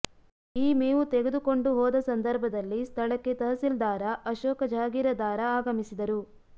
ಈ ಮೇವು ತೆಗೆದುಕೊಂಡು ಹೋದ ಸಂದರ್ಭದಲ್ಲಿ ಸ್ಥಳಕ್ಕೆ ತಹಸೀಲ್ದಾರ ಅಶೋಕ ಜಹಗೀರದಾರ ಆಗಮಿಸಿದರು